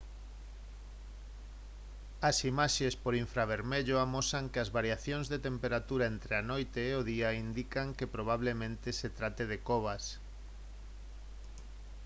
as imaxes por infravermello amosan que as variacións de temperatura entre a noite e o día indican que probablemente se trate de covas